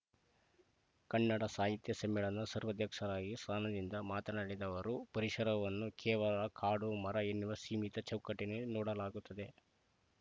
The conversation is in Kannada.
ಕನ್ನಡ ಸಾಹಿತ್ಯ ಸಮ್ಮೇಳನ ಸರ್ವಾಧ್ಯಕ್ಷರಾಗಿ ಸ್ಥಾನದಿಂದ ಮಾತನಾಡಿದ ಅವರು ಪರಿಸರವನ್ನು ಕೇವಲ ಕಾಡು ಮರ ಎನ್ನುವ ಸೀಮಿತ ಚೌಕಟ್ಟಿನಲ್ಲಿ ನೋಡಲಾಗುತ್ತಿದೆ